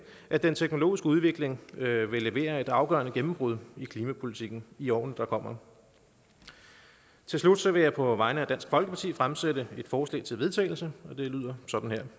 at den teknologiske udvikling vil levere et afgørende gennembrud i klimapolitikken i årene der kommer til slut vil jeg på vegne af dansk folkeparti fremsætte et forslag til vedtagelse og det lyder sådan her